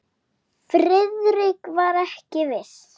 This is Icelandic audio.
Friðrik var ekki viss.